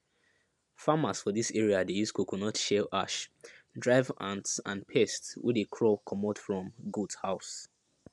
farmers for this area dey use coconut shell ash drive ants and pests wey dey crawl comot from goat house